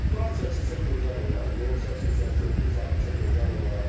Qaz çəkilsə gözəl olar, yol çəkilsə, körpü salınsa gözəl olar.